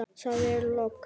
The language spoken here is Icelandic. Það er logn.